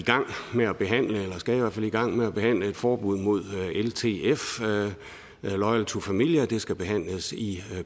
gang med at behandle et forbud mod ltf loyal to familia det skal behandles i